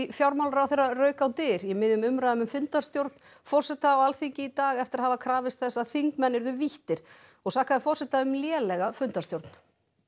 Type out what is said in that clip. fjármálaráðherra rauk á dyr í miðjum umræðum um fundarstjórn forseta á Alþingi í dag eftir að hafa krafist þess að þingmenn yrðu víttir og sakaði forseta um lélega fundarstjórn